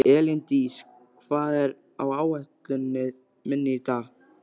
Elíndís, hvað er á áætluninni minni í dag?